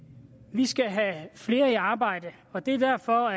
vi skal have flere i arbejde og det er derfor